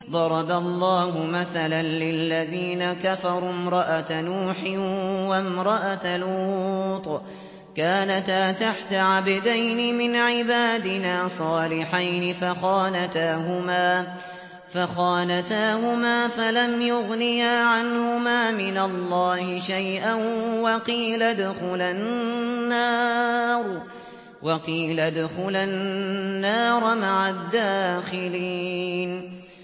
ضَرَبَ اللَّهُ مَثَلًا لِّلَّذِينَ كَفَرُوا امْرَأَتَ نُوحٍ وَامْرَأَتَ لُوطٍ ۖ كَانَتَا تَحْتَ عَبْدَيْنِ مِنْ عِبَادِنَا صَالِحَيْنِ فَخَانَتَاهُمَا فَلَمْ يُغْنِيَا عَنْهُمَا مِنَ اللَّهِ شَيْئًا وَقِيلَ ادْخُلَا النَّارَ مَعَ الدَّاخِلِينَ